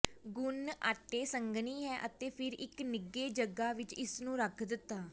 ਗੁਨ੍ਹ ਆਟੇ ਸੰਘਣੀ ਹੈ ਅਤੇ ਫਿਰ ਇੱਕ ਨਿੱਘੇ ਜਗ੍ਹਾ ਵਿੱਚ ਇਸ ਨੂੰ ਰੱਖ ਦਿੱਤਾ